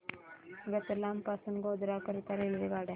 रतलाम पासून गोध्रा करीता रेल्वेगाड्या